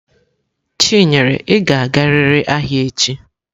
Chinyere, ị ga-agarịrị ahịa echi!